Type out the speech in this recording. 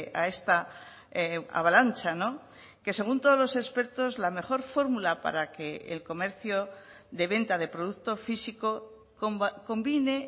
a esta avalancha que según todos los expertos la mejor fórmula para que el comercio de venta de producto físico combine